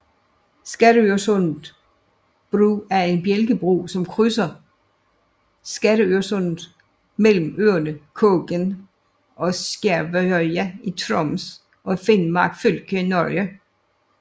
Skattørsundet bru er en bjælkebro som krydser Skattørsundet mellem øerne Kågen og Skjervøya i Troms og Finnmark fylke i Norge